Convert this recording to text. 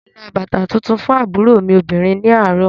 Mo ra bàtà tuntun fún àbúrò mi obìnrin ní àárọ̀